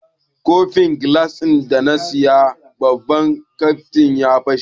Kofin gilas da na saya a babban kanti ya fashe.